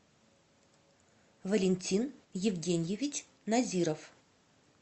валентин евгеньевич назиров